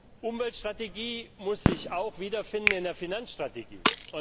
Die Umweltstrategie muss sich auch wiederfinden in der Finanzstrategie.